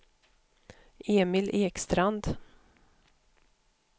Emil Ekstrand